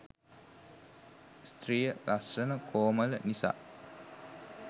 ස්ත්‍රිය ලස්සන කෝමළ නිසා